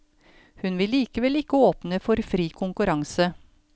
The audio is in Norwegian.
Hun vil likevel ikke åpne for fri konkurranse.